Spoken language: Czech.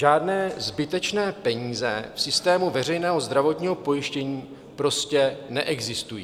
Žádné zbytečné peníze v systému veřejného zdravotního pojištění prostě neexistují.